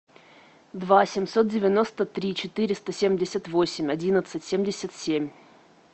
два семьсот девяносто три четыреста семьдесят восемь одиннадцать семьдесят семь